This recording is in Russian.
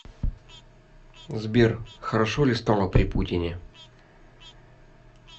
сбер хорошо ли стало при путине